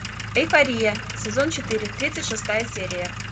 эйфория сезон четыре тридцать шестая серия